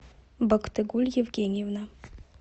бактыгуль евгеньевна